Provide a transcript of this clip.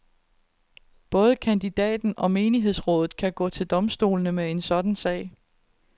Både kandidaten og menighedsrådet kan gå til domstolene med en sådan sag.